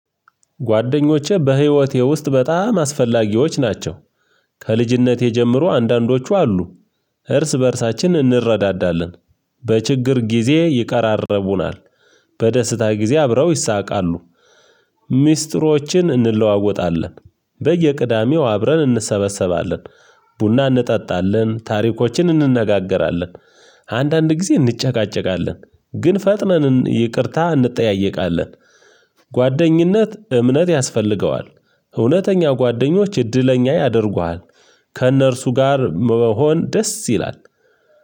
ጓደኞቼ በህይወቴ ውስጥ በጣም አስፈላጊዎች ናቸው። ከልጅነቴ ጀምሮ አንዳንዶቹ አሉ። እርስ በእርሳችን እንረዳዳለን። በችግር ጊዜ ይቃረርቡናል። በደስታ ጊዜ አብረው ይሳቃሉ። ሚስጥሮችን እንለዋወጣለን። በየቅዳሜው አብረን እንሰበሰባለን። ቡና እንጠጣለን ታሪኮችን እንነጋገራለን። አንዳንድ ጊዜ እንጨቃጨቃለን ግን ፈጥነን ይቅርታ እንጠያየቃለን። ጓደኝነት እምነት ያስፈልገዋል። እውነተኛው ጓደኞች እድለኛ ያደርጉሃል። ከእነርሱ ጋር መሆን ደስ ይላል።